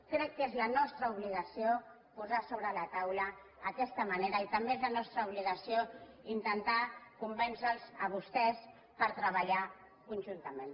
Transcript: crec que és la nostra obligació posar sobre la taula aquesta manera i també és la nostra obligació intentar convèncer los a vostès per treballar conjuntament